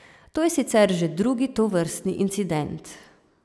To je sicer že drugi tovrstni incident.